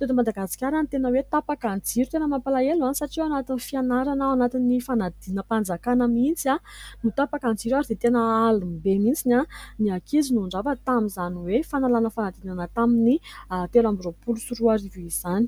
teto madagasikara no tena hoe tapaka ny jiro tena mampalahelo ah! Satria ao anatin'ny fianarana, ao anatin'ny fanadinam-panjakana mihintsy no tapaka ny jiro ary dia tena alim-be mihitsiny ny ankizy no nirava tamin'izany hoe fanalana fanadinana tamin'ny telo amby roapolo sy roa arivo izany.